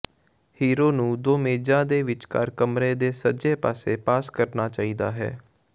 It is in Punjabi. ਹੀਰੋ ਨੂੰ ਦੋ ਮੇਜ਼ਾਂ ਦੇ ਵਿਚਕਾਰ ਕਮਰੇ ਦੇ ਸੱਜੇ ਪਾਸੇ ਪਾਸ ਕਰਨਾ ਚਾਹੀਦਾ ਹੈ